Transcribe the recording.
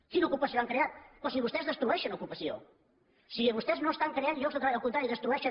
quina ocupació han creat però si vostès destrueixen ocupació si vostès no estan creant llocs de treball al contrari en destrueixen